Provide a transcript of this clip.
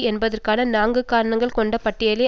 என்பதற்கான நான்கு காரணங்கள் கொண்ட பட்டியலை